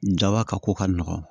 Jaba ka ko ka nɔgɔn